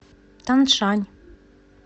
таншань